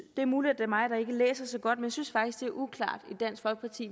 er muligt det er mig der ikke læser så godt men jeg synes faktisk det er uklart